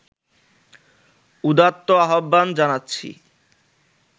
উদাত্ত আহ্বান জানাচ্ছি